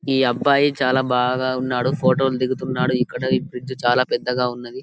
ఈ అబ్బాయి చాలా బాగా ఉన్నాడు ఫోటోలు దిగుతున్నారు ఇక్కడ ఈ బ్రిడ్జి చాలా పెద్దగా ఉన్నది.